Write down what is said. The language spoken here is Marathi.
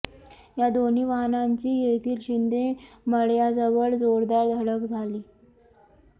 या दोन्ही वाहनांची येथील शिंदे मळ्याजवळ जोरदार धडक झाली